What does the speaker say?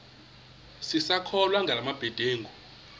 sisakholwa ngala mabedengu